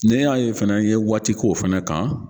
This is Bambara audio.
Nl y'a ye fana n ye waati k'o o fana kan